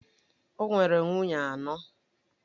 O nwere nwunye anọ.